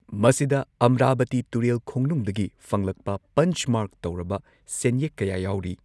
ꯃꯁꯤꯗ ꯑꯝꯔꯥꯕꯇꯤ ꯇꯨꯔꯦꯜ ꯈꯣꯡꯅꯨꯡꯗꯒꯤ ꯐꯪꯂꯛꯄ ꯄꯟꯆ ꯃꯥꯔꯛ ꯇꯧꯔꯕ ꯁꯦꯟꯌꯦꯛ ꯀꯌꯥ ꯌꯥꯎꯔꯤ꯫